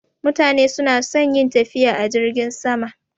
Mutane suna son yin tafiya a jirgin sama